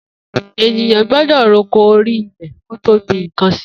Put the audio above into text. Éniyàn gbọdọ rókó óri ilẹ kó tó gbin nkàn si